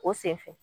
O sen fɛ